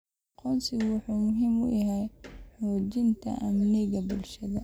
Aqoonsigu wuxuu muhiim u yahay xoojinta amniga bulshada.